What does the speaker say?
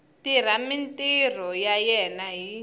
tirha mintirho ya yena hi